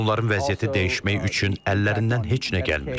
Çünki onların vəziyyəti dəyişmək üçün əllərindən heç nə gəlmir.